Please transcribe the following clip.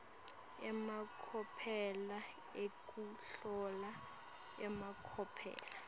emacophelo ekuhlola emacophelo